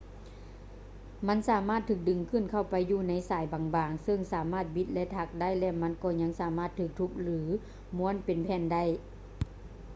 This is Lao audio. ມັນສາມາດຖືກດຶງເຂົ້າໄປຢູ່ໃນສາຍບາງໆ ເຊິ່ງສາມາດບິດ ແລະ ຖັກໄດ້ ແລະ ມັນກໍຍັງສາມາດຖືກທຸບ ຫຼື ມ້ວນເປັນແຜ່ນໄດ້